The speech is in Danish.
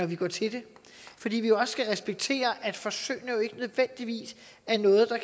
vi går til det fordi vi jo også skal respektere at forsøgene ikke nødvendigvis er noget der